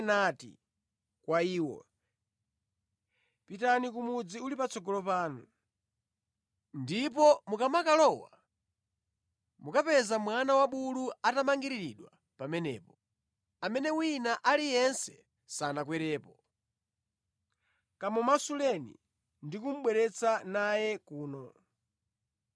nati kwa iwo, “Pitani ku mudzi uli patsogolo panu, ndipo mukamakalowa, mukapeza mwana wabulu atamangiriridwa pamenepo, amene wina aliyense sanakwerepo. Kamumasuleni ndi kubwera naye kuno.